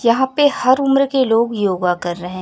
यहां पे हर उम्र के लोग योगा कर रहे--